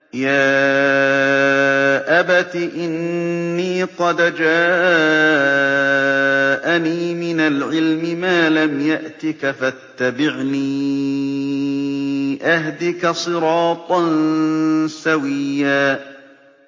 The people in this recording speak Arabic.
يَا أَبَتِ إِنِّي قَدْ جَاءَنِي مِنَ الْعِلْمِ مَا لَمْ يَأْتِكَ فَاتَّبِعْنِي أَهْدِكَ صِرَاطًا سَوِيًّا